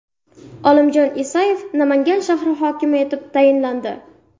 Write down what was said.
Olimjon Isayev Namangan shahri hokimi etib tayinlandi.